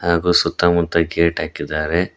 ಹಾಗು ಸುತ್ತ ಮುತ್ತ ಗೇಟ್ ಹಾಕಿದ್ದಾರೆ.